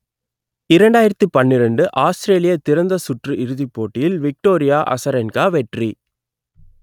இரண்டாயிரத்தி பன்னிரண்டு ஆஸ்திரேலிய திறந்த சுற்று இறுதிப் போட்டியில் விக்டோரியா அசரென்கா வெற்றி